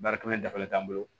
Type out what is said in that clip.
Baara kelen dafalen t'an bolo